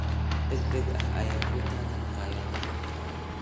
Cunto degdeg ah ayaa ku taal maqaayadaha.